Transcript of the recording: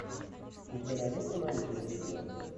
у тебя найдется научное видео